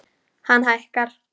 Hann hækkar.